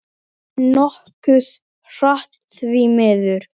Nokkuð hratt, því miður.